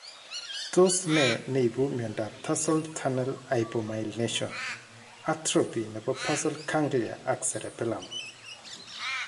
Tos ne neipu miondop tarsal tunnel hypomyelination , atrophy nepo basal ganglia ak cerebellum ?